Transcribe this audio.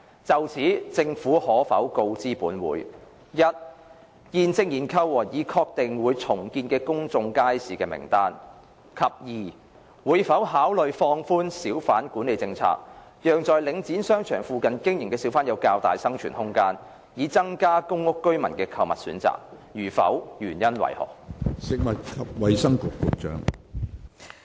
就此，政府可否告知本會：一現正研究和已確定會重建的公眾街市的名單；及二會否考慮放寬小販管理政策，讓在領展商場附近經營的小販有較大生存空間，以增加公屋居民的購物選擇；如否，原因為何？